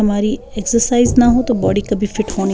हमारी एक्सर्साइज़ ना हो तो बॉडी कभी फिट --